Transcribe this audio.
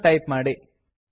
ಎಂದು ಟೈಪ್ ಮಾಡಿ